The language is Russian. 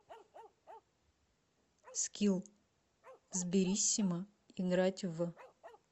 скилл сбериссимо играть в